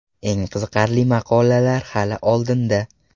Eng qiziqarli maqolalar hali oldinda.